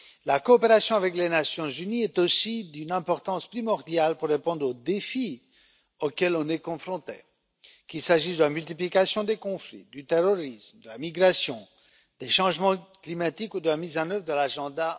La coopération avec les Nations unies est aussi d'une importance primordiale pour répondre aux défis auxquels nous sommes confrontés, qu'il s'agisse de la multiplication des conflits, du terrorisme, de la migration, des changements climatiques ou de la mise en œuvre de l'Agenda